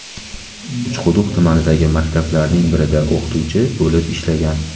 Uchquduq tumanidagi maktablarning birida o‘qituvchi bo‘lib ishlagan.